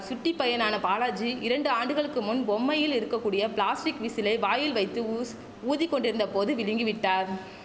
சுட்டிப்பையனான பாலாஜி இரண்டு ஆண்டுகளுக்கு முன் பொம்மையில் இருக்கக்கூடிய பிளாஸ்டிக் விசிலை வாயில் வைத்து ஊஷ் ஊதிக்கொண்டிருந்த போது விழுங்கிவிட்டார்